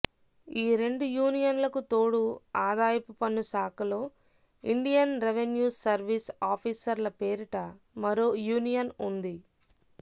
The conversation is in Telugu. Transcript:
ఈ రెండు యూనియన్లకుతోడు ఆదాయపు పన్నుశాఖలో ఇండియన్ రెవెన్యూ సర్వీస్ ఆఫీసర్ల పేరిట మరో యూనియన్ ఉంది